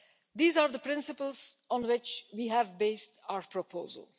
These are the principles on which we have based our proposal.